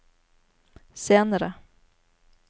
senere